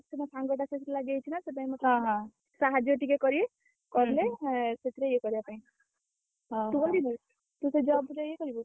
କାହିଁକି ନା ସେ ମୋ ସାଙ୍ଗଟା ସେଇଠି ଲାଗି ଯାଇଛି ନା ସେ ପାଇଁ ମତେ ସାହାଯ୍ୟ ଟିକେ କରିବେ। ସେଥିରେ ଇଏ କରିବା ପାଇଁ ତୁ ସେଇ job ରେ ଇଏ କରିବୁ?